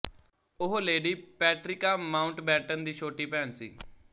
ਉਹ lady Patricia Mountbatten ਦੀ ਛੋਟੀ ਭੈਣ ਸੀ